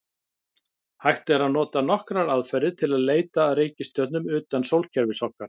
Hægt er að nota nokkrar aðferðir til að leita að reikistjörnum utan sólkerfis okkar.